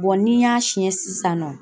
ni n y'a siɲɛ sisan nɔ